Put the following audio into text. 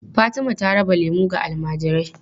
Fatima ta raba lemu ga almajirai.